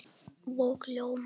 Og ljómar.